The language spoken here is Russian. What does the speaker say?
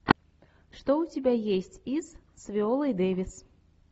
что у тебя есть из с виолой дэвис